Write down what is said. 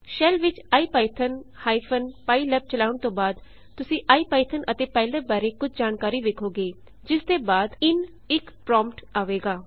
shell ਵਿੱਚ IPython pylab ਚਲਾਉਣ ਤੋਂ ਬਾਅਦ ਤੁਸੀਂ ਇਪੀਥੌਨ ਅਤੇ ਪਾਈਲੈਬ ਬਾਰੇ ਕੁਝ ਜਾਣਕਾਰੀ ਵੇਖੋਗੇ ਜਿਸਦੇ ਬਾਅਦ In1 ਪ੍ਰੌਂਪਟ ਆਵੇਗਾ